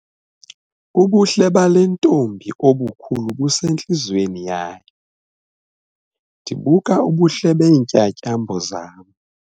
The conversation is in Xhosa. Ubuhle bale ntombi obukhulu busentliziyweni yayo. ndibuka ubuhle beentyatyambo zam